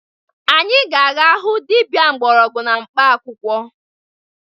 Anyị ga-aga hụ dibia mgbọrọgwụ na mkpaakwụkwọ